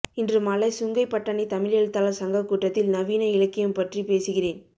இன்றுமாலை சுங்கைப்பட்டாணி தமிழ் எழுத்தாளர் சங்க கூட்டத்தில் நவீன இலக்கியம் பற்றி பேசுகிறேன்